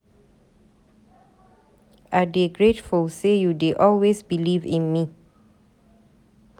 I dey grateful sey you dey always beliv in me.